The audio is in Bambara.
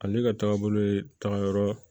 Ale ka taagabolo ye tagayɔrɔ